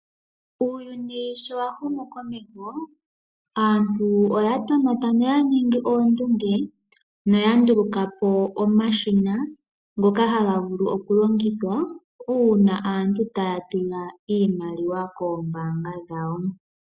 Uuyuni sho wahumu komeho aantu oyatonata noyaningi oondunge noyandulukapo omashina ngoka hagavulu okulongithwa uuna aantu taya tula iimaliwa koombaanga dhawo.